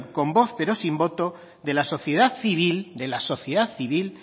con voz pero sin voto de la sociedad civil de la sociedad civil